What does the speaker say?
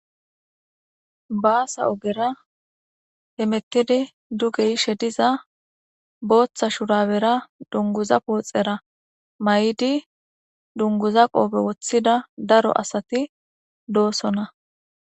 baasa ogera hemettidi dugeyishe diza booththa shurabera dunguza pooxera may7idi dunguza qoobe woththida daro asati doosona